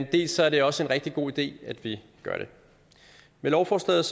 dels er det også en rigtig god idé at vi gør det med lovforslaget